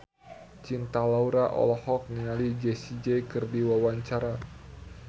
Cinta Laura olohok ningali Jessie J keur diwawancara